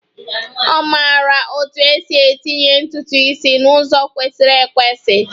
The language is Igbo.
Ọ maara otú e si etinye ntutu isi n'ụzọ kwesịrị ekwesị